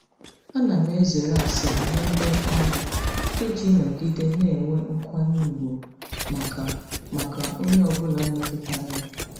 Ana m ezere asịrị n'ebe ọrụ iji nọgide na-enwe nkwanye ùgwù maka maka onye ọ bụla metụtara ya.